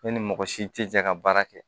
Ne ni mɔgɔ si tɛ jɛ ka baara kɛ